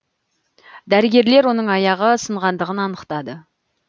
дәрігерлер оның аяғы сынғандығын анықтады